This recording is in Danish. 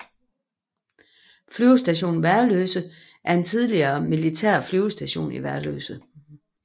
Flyvestation Værløse er en tidligere militær flyvestation i Værløse